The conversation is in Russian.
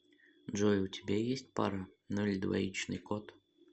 джой у тебя есть пара ну или двоичный код